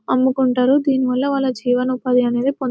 అమ్ముకుంటారు దీనివల్ల వాళ్ళ జీవన ఉపాధి అనేది --